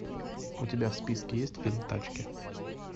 у тебя в списке есть фильм тачки